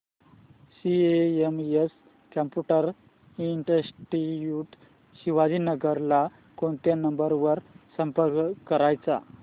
CMS computer institute Shivajinagar ला कोणत्या number वर संपर्क करायचा